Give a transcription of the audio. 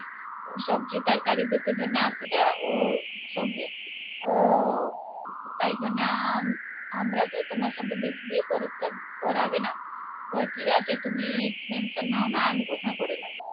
সবজির তার কারিগর দরে জন্য আসে যা ও সঙ্গে ও তাই জন্যে আম আমরা তো তোমার সঙ্গে বিয়ে করাবে না ঠিকাছে তুমি tension নাও না আমি কথা করে নিবো